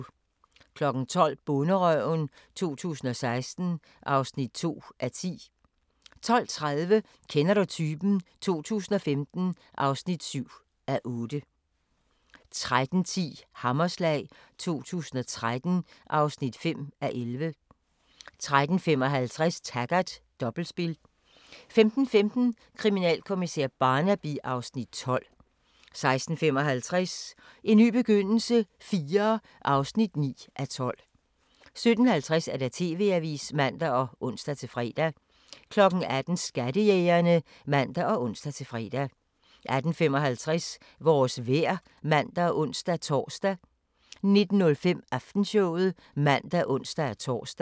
12:00: Bonderøven 2016 (2:10) 12:30: Kender du typen? 2015 (7:8) 13:10: Hammerslag 2013 (5:11) 13:55: Taggart: Dobbeltspil 15:15: Kriminalkommissær Barnaby (Afs. 12) 16:55: En ny begyndelse IV (9:12) 17:50: TV-avisen (man og ons-fre) 18:00: Skattejægerne (man og ons-fre) 18:55: Vores vejr (man og ons-tor) 19:05: Aftenshowet (man og ons-tor)